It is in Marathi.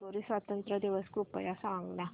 हंगेरी स्वातंत्र्य दिवस कृपया सांग ना